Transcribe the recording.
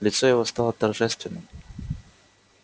лицо его стало торжественным